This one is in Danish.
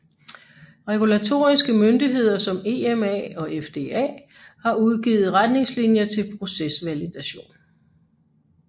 Regulatoriske myndigheder som EMA og FDA har udgivet retnigngslinjer til procesvalidation